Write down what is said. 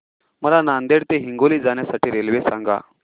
मला नांदेड ते हिंगोली जाण्या साठी रेल्वे सांगा